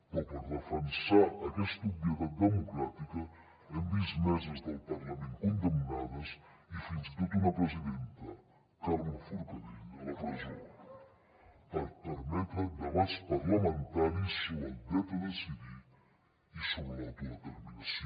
però per defensar aquesta obvietat democràtica hem vist meses del parlament condemnades i fins i tot una presidenta carme forcadell a la presó per permetre debats parlamentaris sobre el dret a decidir i sobre l’autodeterminació